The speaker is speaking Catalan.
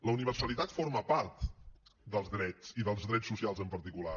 la universalitat forma part dels drets i dels drets socials en particular